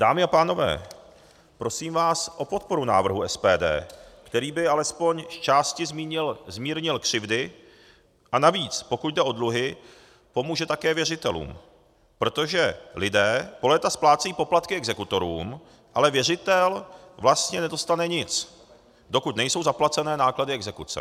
Dámy a pánové, prosím vás o podporu návrhu SPD, který by alespoň zčásti zmírnil křivdy a navíc, pokud jde o dluhy, pomůže také věřitelům, protože lidé po léta splácejí poplatky exekutorům, ale věřitel vlastně nedostane nic, dokud nejsou zaplacené náklady exekuce.